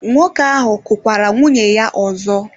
Nwoke ahụ kụkwara nwunye ya ọzọ?